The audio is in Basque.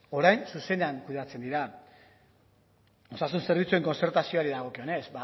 orain zuzenean kudeatzen dira osasun zerbitzuen kontzertazioari dagokionez